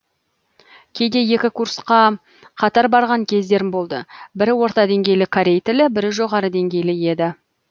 кейде екі курсқа қатар барған кездерім болды бірі орта деңгейлі корей тілі бірі жоғары деңгейлі еді